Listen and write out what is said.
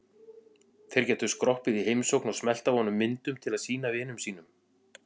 Þeir gætu skroppið í heimsókn og smellt af honum myndum til að sýna vinum sínum.